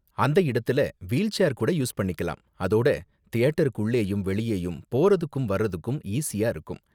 அந்த இடத்துல wheelchair கூட யூஸ் பண்ணிக்கலாம், அதோட தியேட்டருக்குள்ளயும் வெளியேயும் போறதுக்கும் வர்றதுக்கும் ஈஸியா இருக்கும்.